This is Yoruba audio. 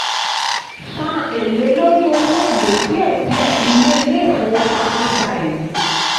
san ẹ̀lé lórí owó èlé díẹ̀ díẹ̀; ilé ilé ìfowópamọ́ gba èlé.